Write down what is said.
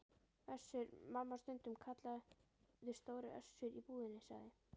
Össur- Mamma, stundum kallaður Stóri Össur í búðinni, sagði